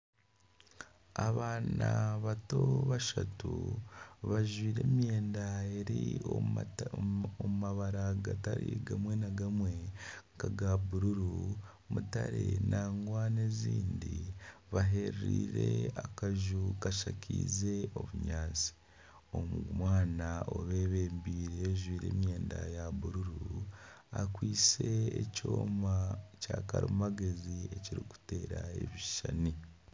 Abaana bato bashatu bajwaire emyenda eri omu mabara gatari gamwe na gamwe nkaga bururu mutare nangwa nana ezindi bahereriire akaju kashakaize obunyatsi omwana abebembeire ajwaire emyenda ya bururu akwaitse ekyooma kya karimagyezi ekirikuteera ebishushani